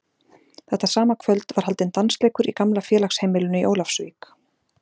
Þetta sama kvöld var haldinn dansleikur í gamla félagsheimilinu í Ólafsvík.